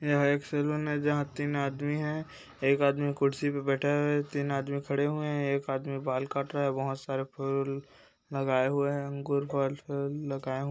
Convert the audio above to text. यह एक सैलून है जहाँ तीन आदमी हैं एक आदमी कुर्सी पे बैठा हैं तीन आदमी खड़े हुए हैं एक आदमी बाल काट रहा हैं बहुत सारे फूल-ल-अ लगाए हुए हैं अंगूर फल लगाये --